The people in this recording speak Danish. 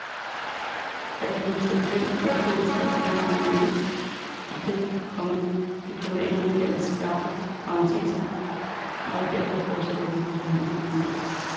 De mere kontroversielle spørgsmål er stadig hegnet ind i det, komma diplomaterne kalder skarpe parenteser og er derfor fortsat åbne for forhandling. punktum